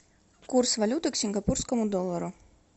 курс валюты к сингапурскому доллару